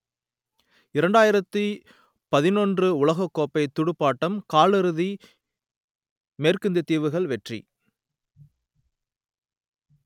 இரண்டாயிரத்து பதினொன்று உலகக்கோப்பை துடுப்பாட்டம் காலிறுதி மேற்கிந்தியத்தீவுகள் வெற்றி